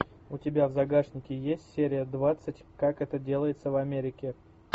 у тебя в загашнике есть серия двадцать как это делается в америке